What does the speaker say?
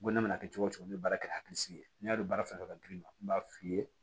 N ko ne mana kɛ cogo cogo n bɛ baara kɛ ni hakilisigi ye n'i y'a dɔn baara fɛn fɛn ka girin n b'a f'i ye